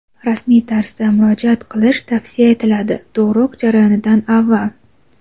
rasmiy tarzda murojaat qilish tavsiya etiladi (tug‘ruq jarayonidan avval).